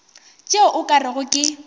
tšeo o ka rego ke